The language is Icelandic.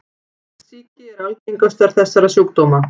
Iktsýki er algengastur þessara sjúkdóma.